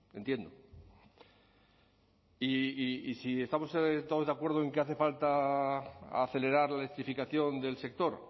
entiendo y si estamos todos de acuerdo en que hace falta acelerar la electrificación del sector